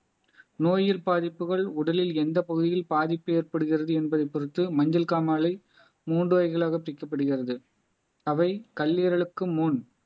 நோயில் பாதிப்புகள் உடலில் எந்த பகுதியில் பாதிப்பு ஏற்படுகிறது என்பதை பொறுத்து மஞ்சள் காமாலை மூன்று வகைகளாக பிரிக்கப்படுகிறது அவை கல்லீரலுக்கு முன்